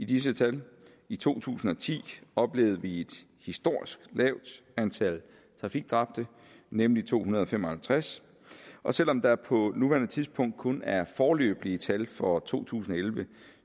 disse tal i to tusind og ti oplevede vi et historisk lavt antal trafikdræbte nemlig to hundrede og fem og halvtreds og selv om der på nuværende tidspunkt kun er foreløbige tal for to tusind og elleve